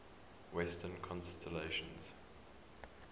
western constellations